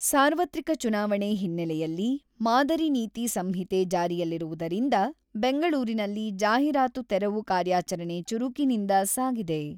ಸಾರ್ವತ್ರಿಕ ಚುನಾವಣೆ ಹಿನ್ನೆಲೆಯಲ್ಲಿ ಮಾದರಿ ನೀತಿ ಸಂಹಿತೆ ಜಾರಿಯಲ್ಲಿರುವುದರಿಂದ ಬೆಂಗಳೂರಿನಲ್ಲಿ ಜಾಹಿರಾತು ತೆರವು ಕಾರ್ಯಾಚರಣೆ ಚುರುಕಿನಿಂದ ಸಾಗಿದೆ.